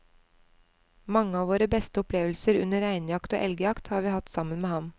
Mange av våre beste opplevelser under reinjakt og elgjakt har vi hatt sammen med ham.